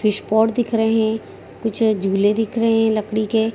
fish pot दिख रहे कुछ झूले दिख रहे लकड़ी के